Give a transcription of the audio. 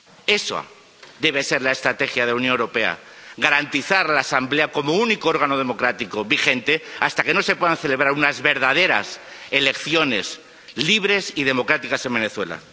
Esa debe ser la estrategia de la Unión Europea garantizar la Asamblea como único órgano democrático vigente hasta que no se puedan celebrar unas verdaderas elecciones libres y democráticas en Venezuela.